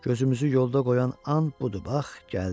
Gözümüzü yolda qoyan an budur, bax, gəldi.